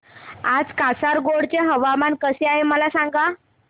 आज कासारगोड चे हवामान कसे आहे मला सांगा